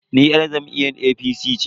Ni yar jam'iyyar APC ce.